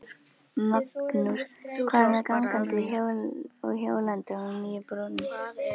Magnús: Hvað með gangandi og hjólandi á nýju brúnni?